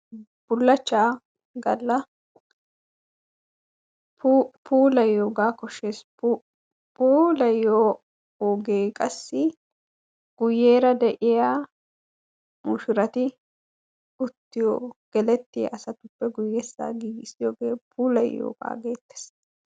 Bullachcha galla puulayiyooga koshshees, puulayyiyo oge qassi guyyeera de'iya mushshurati uttiyo gelettiya asatuppe guyyeesa giigissiyooge puulayyiyooga gettees.